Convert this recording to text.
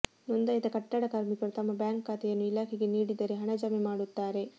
ನೋಂದಾಯಿತ ಕಟ್ಟಡ ಕಾರ್ಮಿಕರು ತಮ್ಮ ಬ್ಯಾಂಕ್ ಖಾತೆಯನ್ನು ಇಲಾಖೆಗೆ ನೀಡಿದರೆ ಹಣ ಜಮೆ ಮಾಡುತ್ತಾರೆ